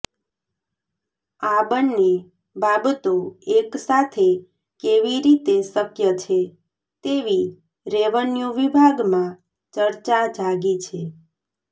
આ બંને બાબતો એક સાથે કેવી રીતે શક્ય છે તેવી રેવન્યુ વિભાગમાં ચર્ચા જાગી છે